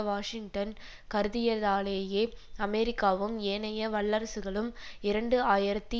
Washington கருதியதாலேயே அமெரிக்காவும் ஏனைய வல்லரசுகளும் இரண்டு ஆயிரத்தி